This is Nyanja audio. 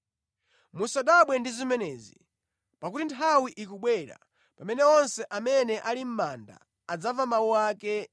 “Musadabwe ndi zimenezi. Pakuti nthawi ikubwera pamene onse amene ali mʼmanda adzamva mawu ake